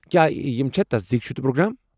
کیا یم چھ تصدیق شُدٕ پروگرام؟